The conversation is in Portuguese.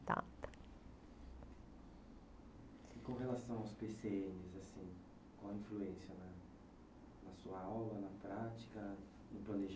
E com relação aos pê cê ênes assim, qual a influência na na sua aula, na prática, no